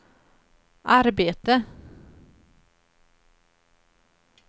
arbete